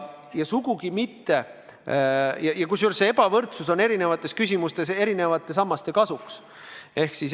Ja see ebavõrdsus on eri küsimustes eri sammaste kasuks.